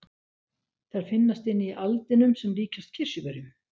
Þær finnast inni í aldinum sem líkjast kirsuberjum.